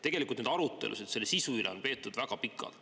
Tegelikult on arutelusid selle sisu üle peetud väga pikalt.